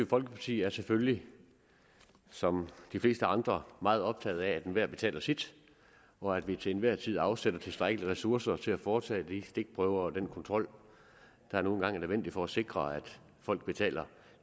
folkeparti er selvfølgelig som de fleste andre meget optaget af at enhver betaler sit og at vi til enhver tid afsætter tilstrækkelige ressourcer til at foretage de stikprøver og den kontrol der nu engang er nødvendig for at sikre at folk betaler